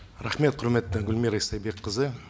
рахмет құрметті гүлмира истайбекқызы